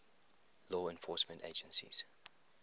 law enforcement agencies